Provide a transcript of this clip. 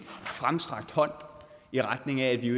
fremstrakt hånd i retning af at vi